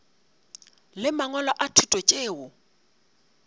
le mangwalo a thuto tšeo